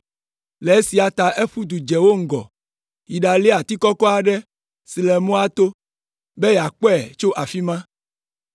Le esia ta eƒu du dze wo ŋgɔ, yi ɖalia ati kɔkɔ aɖe si le mɔa to, be yeakpɔe tso afi ma.